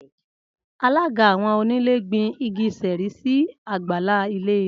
Alága awọn onílé gbin igi Sheri sí àgbàlá ilé rè